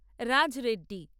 Raj Reddy